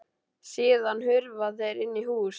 Síðan hurfu þeir inn í hús.